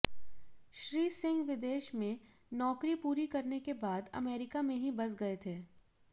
श्री सिंह विदेश में नौकरी पूरी करने के बाद अमेरिका में ही बस गये थे